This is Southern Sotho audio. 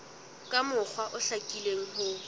ka mokgwa o hlakileng ho